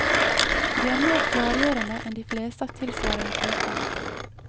De er mer klargjørende enn de fleste av tilsvarende type.